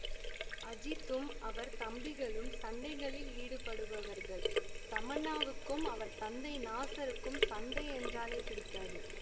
அஜித்தும் அவர் தம்பிகளும் சண்டைகளில் ஈடுபடுபவர்கள் தமன்னாவுக்கும் அவர் தந்தை நாசருக்கும் சண்டை என்றாலே பிடிக்காது